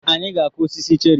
Anyị ga-akụ osisi cherị.